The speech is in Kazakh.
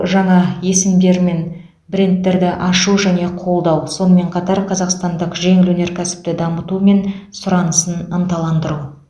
жаңа есімдер мен брендтерді ашу және қолдау сонымен қатар қазақстандық жеңіл өнеркәсіпті дамыту мен сұранысын ынталандыру